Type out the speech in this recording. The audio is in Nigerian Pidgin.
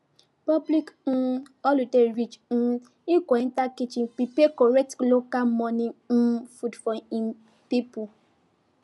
public um holiday reach um e go enter kitchen prepare correct local morning um food for him people